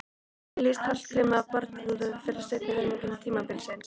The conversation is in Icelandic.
Hvernig lýst Hallgrími á baráttuna fyrir seinni helming tímabilsins?